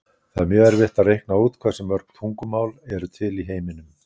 Það er mjög erfitt að reikna út hversu mörg tungumál eru til í heiminum.